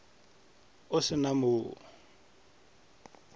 o se na mo o